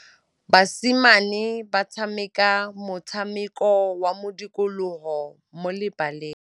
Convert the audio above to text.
Basimane ba tshameka motshameko wa modikologô mo lebaleng.